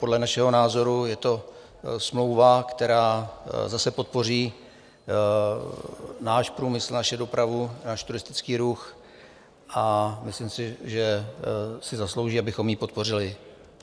Podle našeho názoru je to smlouva, která zase podpoří náš průmysl, naši dopravu, náš turistický ruch, a myslím si, že si zaslouží, abychom ji podpořili.